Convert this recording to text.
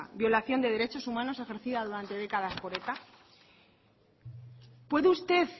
violación de derechos humanos ejercida durante décadas por eta puede usted